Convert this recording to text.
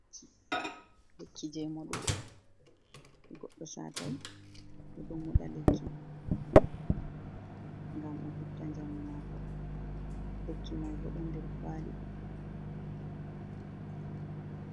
Lekki jei moɗugo. To goɗɗo satai, o ɗo moɗa lekki ngam o hefta njamu maako. Lekki mai bo ɗon nder kwali.